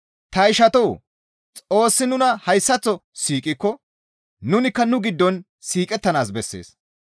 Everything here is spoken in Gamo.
Ta ishatoo! Xoossi nuna hayssaththo siiqikko nunikka nu giddon siiqettanaas bessees.